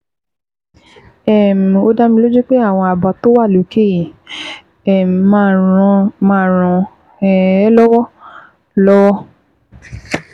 um Ó dá mi lójú pé àwọn àbá tó wà lókè yìí um máa ràn um ẹ́ lọ́wọ́ ẹ́ lọ́wọ́